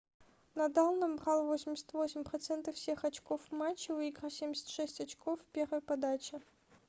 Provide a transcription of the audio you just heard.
надал набрал 88% всех очков в матче выиграв 76 очков в первой подаче